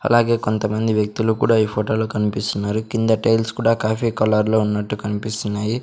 అలాగే కొంత మంది వ్యక్తులు కూడా ఈ ఫోటోలో కనిపిస్తున్నారు కింద టైల్స్ కూడా కాఫీ కలర్లో ఉన్నట్టు కనిపిస్తున్నాయి.